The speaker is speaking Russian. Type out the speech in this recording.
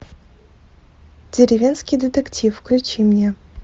деревенский детектив включи мне